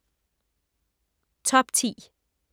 Top 10